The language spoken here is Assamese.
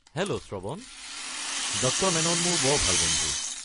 হেল্ল', শ্ৰৱণ! ডক্টৰ মেনন মোৰ বৰ ভাল বন্ধু।